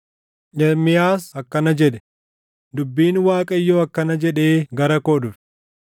Ermiyaas akkana jedhe; “Dubbiin Waaqayyoo akkana jedhee gara koo dhufe: